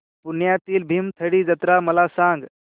पुण्यातील भीमथडी जत्रा मला सांग